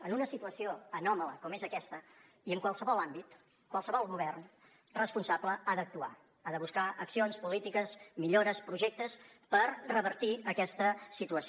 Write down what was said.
en una situació anòmala com és aquesta i en qualsevol àmbit qualsevol govern responsable ha d’actuar ha de buscar accions polítiques millores projectes per revertir aquesta situació